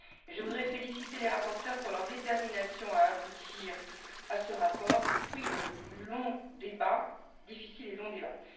Je voudrais féliciter les rapporteurs pour leur détermination à aboutir à ce rapport, fruit de longs et difficiles débats.